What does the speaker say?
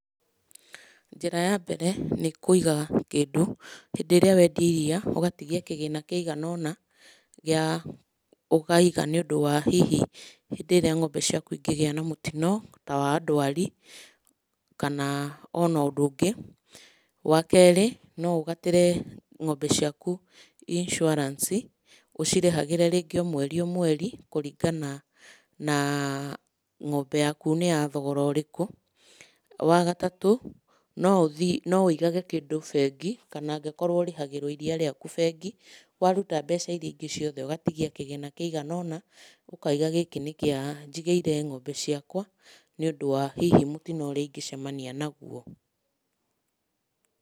Njĩra ya mbere nĩ kũiga kĩndũ, hĩndĩ ĩrĩa wendia iria ũgatigia kĩgĩna kĩigana ũna, gĩa ũkaiga nĩũndũ wa hihi hĩndĩ ĩrĩa ng'ombe ciaku inĩgĩa na mũtino ta wa ndwari, kana ona ũndũ ũngĩ. Wakerĩ no ũgatĩre ng'ombe ciaku insuarance, ũcirĩhagĩre rĩngĩ o mweri o mweri kũringana na ng'ombe yaku nĩ ya thogora ũrĩkũ. Wagatatũ, no ũthiĩ, no wĩigage kĩndũ bengi kana angĩkorwo ũrĩhagĩrwo iria rĩaku bengi, waruta mbeca iri aingĩ ciothe ũgatigia kĩgĩna kĩigana ũna ũkaiga gĩkĩ nĩ kĩa, njigĩire ng'ombe ciakwa, nĩũndũ wa hihi mũtino ũrĩa ingĩcemania naguo.